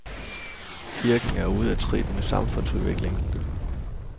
Kirken er ude af trit med samfundsudviklingen.